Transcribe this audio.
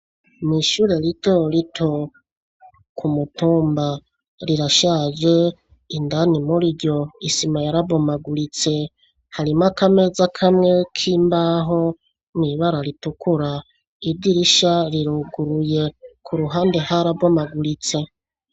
Mw’ishure ritoto ku mutumba rirashaje indani muriryo isima yara bomaguritse ,harimo akameza kamwe k’imbaho mw’ibara ritukura ,idirisha riruguruye kuruhande hara bomaguritse.